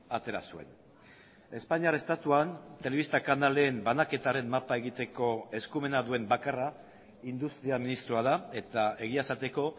atera zuen espainiar estatuan telebista kanalen banaketaren mapa egiteko eskumena duen bakarra industria ministroa da eta egia esateko